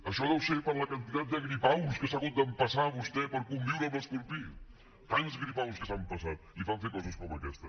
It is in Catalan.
això deu ser per la quantitat de gripaus que s’ha hagut d’empassar vostè per conviure amb l’escorpí tants gripaus que s’ha empassat li fan fer coses com aquesta